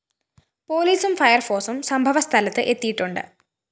പോലീസും ഫയര്‍ഫോഴ്‌സും സംഭവ സ്ഥലത്ത് എത്തിയിട്ടുണ്ട്